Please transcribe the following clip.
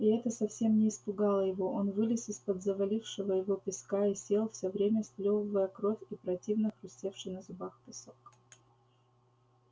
и это совсем не испугало его он вылез из-под завалившего его песка и сел всё время сплёвывая кровь и противно хрустевший на зубах песок